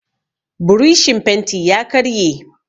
burishin fenti ya karye